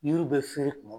Yiriw bɛ feere kuma min